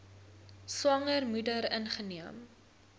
swanger moeder ingeneem